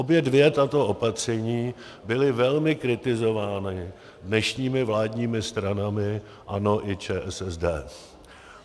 Obě dvě tato opatření byla velmi kritizována dnešními vládními stranami ANO i ČSSD.